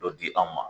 Dɔ di anw ma